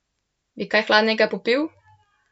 Bi kaj hladnega popil?